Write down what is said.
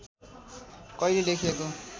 कहिले लेखिएको